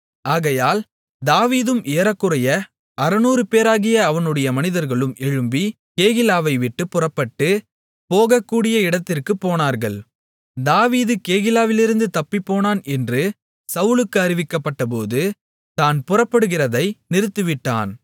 ஆகையால் தாவீதும் ஏறக்குறைய 600 பேராகிய அவனுடைய மனிதர்களும் எழும்பி கேகிலாவை விட்டுப் புறப்பட்டு போகக்கூடிய இடத்திற்குப் போனார்கள் தாவீது கேகிலாவிலிருந்து தப்பிப்போனான் என்று சவுலுக்கு அறிவிக்கப்பட்டபோது தான் புறப்படுகிறதை நிறுத்திவிட்டான்